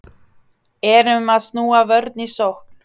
Erum að snúa vörn í sókn